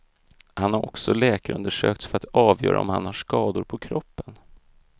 Han har också läkarundersökts för att avgöra om han har skador på kroppen.